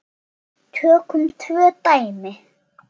Tökum tvö dæmi